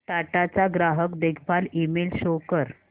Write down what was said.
टाटा चा ग्राहक देखभाल ईमेल शो कर